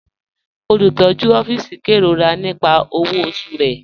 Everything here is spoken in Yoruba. Olùtọ̀jú òfìísì n kẹ́rọ̀rà nípà owó ọ̀ṣù rẹ̀.